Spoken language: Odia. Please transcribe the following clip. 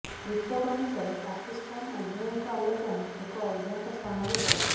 ରିପୋର୍ଟ ଅନୁସାରେ ପାକିସ୍ତାନ ଉଭୟଙ୍କ ଆଲୋଚନା ଏକ ଅଜ୍ଞାତ ସ୍ଥାନରେ କରିଥିଲା